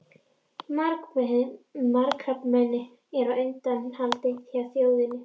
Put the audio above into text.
Magakrabbamein er á undanhaldi hjá þjóðinni.